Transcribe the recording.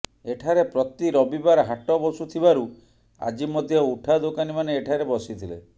ଏଠାରେ ପ୍ରତି ରବିବାର ହାଟ ବସୁଥିବାରୁ ଆଜି ମଧ୍ୟ ଉଠା ଦୋକାନୀମାନେ ଏଠାରେ ବସିଥିଲେ